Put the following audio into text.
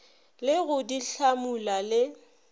le go di hlamula le